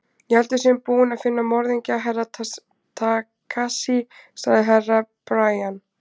Ég held að við séum búin að finna morðingju Herra Takashi, sagði Herra Brian.